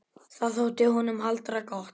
Það þótti honum harla gott.